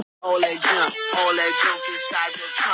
Gullveig, hvenær kemur strætó númer fimm?